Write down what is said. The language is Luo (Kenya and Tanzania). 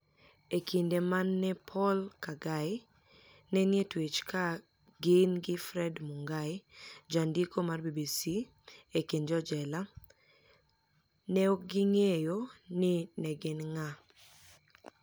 E kinide ma ni e Poul Kagai ni e nii e twech ka gini gi Fred Munigai janidiko mar BBC ekinid jojela, ni e ni e ok onig'eyo nii ni e eni nig'a.